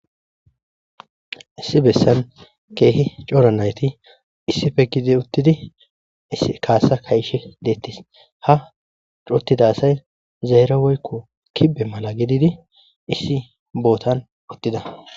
issi bessan keehi cora nayti issife gidi uttidi issi kaasa kaishe deettis ha cuttida say zaera woykko kibe mala gididi issi bootan uttida